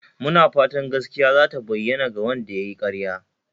Muna fatan gaskiya zata bayyana" ga Wanda yayi karya